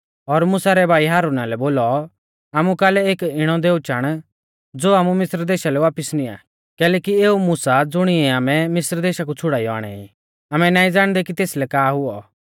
और मुसा रै भाई हारुना लै बोलौ आमु कालै एक इणौ दैऔ चाण ज़ो आमु मिस्र देशा लै वापिस निंया कैलैकि एऊ मुसा ज़ुणिऐ आमै मिस्रा कु छ़ुड़ाइयौ आणै ई आमै नाईं ज़ाणदै कि तेसलै का हुऔ